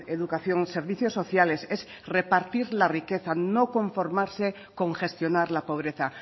educación servicios sociales es repartir la riqueza no conformarse con gestionar la pobreza